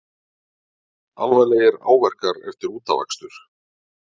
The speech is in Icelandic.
Alvarlegir áverkar eftir útafakstur